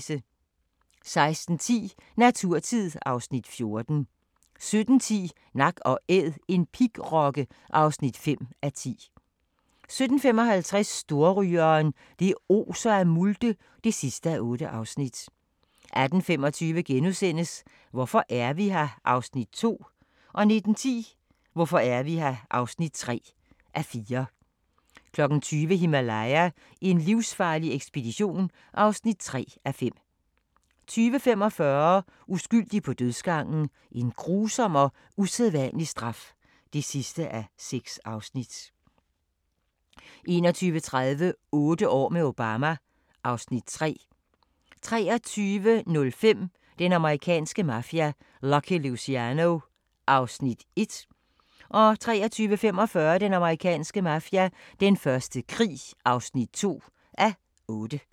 16:10: Naturtid (Afs. 14) 17:10: Nak & Æd – en pigrokke (5:10) 17:55: Storrygeren – det oser af multe (8:8) 18:25: Hvorfor er vi her? (2:4)* 19:10: Hvorfor er vi her? (3:4) 20:00: Himalaya: en livsfarlig ekspedition (3:5) 20:45: Uskyldig på dødsgangen: En grusom og usædvanlig straf (6:6) 21:30: Otte år med Obama (Afs. 3) 23:05: Den amerikanske mafia: Lucky Luciano (1:8) 23:45: Den amerikanske mafia: Den første krig (2:8)